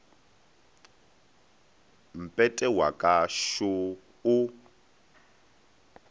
mpete wa ka šo o